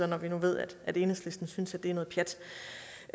når vi nu ved at enhedslisten synes at det er noget pjat